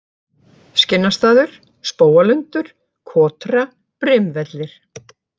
Skinnastaður, Spóalundur, Kotra, Brimvellir